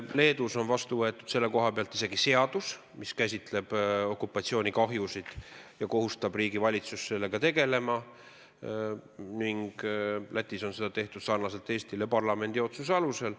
Leedus on selle kohta vastu võetud isegi seadus, mis käsitleb okupatsioonikahjusid ja kohustab riigi valitsust nendega tegelema, ning Lätis on seda tehtud sarnaselt Eestiga parlamendi otsuse alusel.